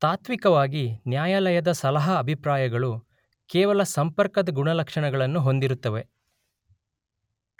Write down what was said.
ತಾತ್ವಿಕವಾಗಿ ನ್ಯಾಯಾಲಯದ ಸಲಹಾ ಅಭಿಪ್ರಾಯಗಳು ಕೇವಲ ಸಂಪರ್ಕದ ಗುಣಲಕ್ಷಣಗಳನ್ನು ಹೊಂದಿರುತ್ತವೆ